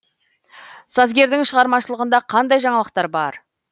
сазгердің шығармашылығында қандай жаңалықтар бар